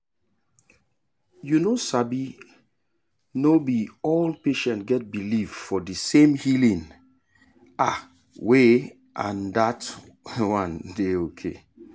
you no sabi no be all patient get belif for the same healing ah way and that one dey ok